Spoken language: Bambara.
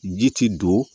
Ji ti don